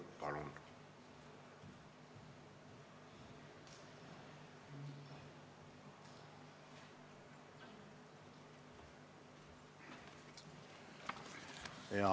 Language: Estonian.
Palun!